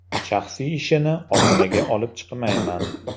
Shaxsiy ishini ommaga olib chiqmayman.